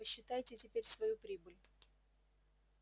посчитайте теперь свою прибыль